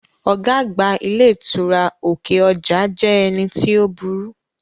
Ọ̀gá àgbà ilé ìtura òkè ọjà jẹ́ ẹni tí ó burú